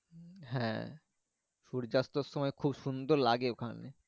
হ্যাঁ সূর্যঅস্ত সময় খুব সুন্দর লাগে ওখানে।